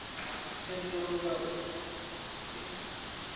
thendelo nga ner u netshedza